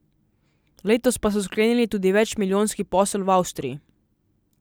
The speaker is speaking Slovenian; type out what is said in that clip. Letos pa so sklenili tudi več milijonski posel v Avstriji.